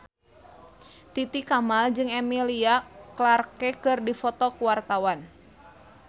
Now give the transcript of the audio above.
Titi Kamal jeung Emilia Clarke keur dipoto ku wartawan